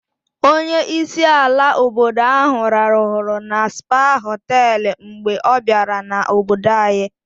Onye isi ala obodo ahụ rahụrụ na Spa họtelụ mgbe ọ bịara n'obodo anyị.